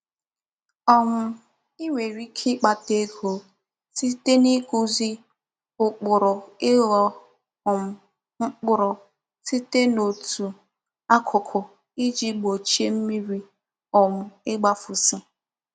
um I nwere ike ikpata ego site n'ikuzi ukpuru igho um mkpuru site n'otu akuku Iji gbochie mmiri um igbafusi.